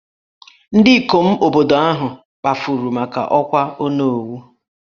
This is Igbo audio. Ndị ikom obodo ahụ kpafuru maka ọkwà Onowu